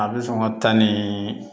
A bɛ sɔn ka taa ni